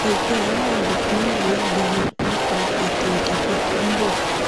ẹgbẹ aráàlú pín ìwé ìléwó nípa ẹtọ ìdìbò tó ń bọ